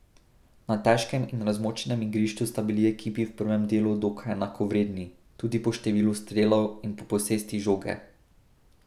Na težkem in razmočenem igrišču sta bili ekipi v prvem delu dokaj enakovredni, tudi po številu strelov in po posesti žoge.